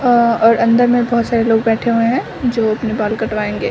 आ और अंदर में बहुत सरे लोग बैठे हुए हैं जो अपना बाल कटवाएंगे।